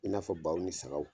I n'a fɔ baw ni sagaw.